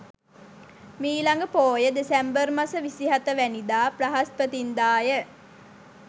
මීළඟ පෝය දෙසැම්බර් මස 27 වැනිදා බ්‍රහස්පතින්දා ය.